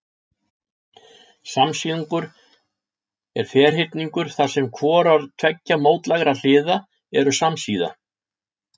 Samsíðungur er ferhyrningur þar sem hvorar tveggja mótlægra hliða eru samsíða.